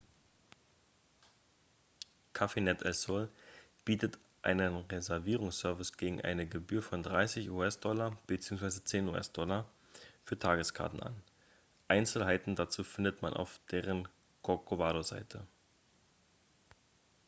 cafenet el sol bietet einen reservierungsservice gegen eine gebühr von 30 us-dollar bzw. 10 us-dollar für tageskarten an einzelheiten dazu findet man auf deren corcovado-seite